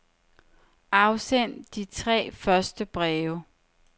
Afsend de tre første breve.